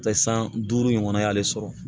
Paseke san duuru in kɔnɔ a y'ale sɔrɔ